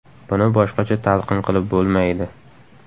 Buni boshqacha talqin qilib bo‘lmaydi.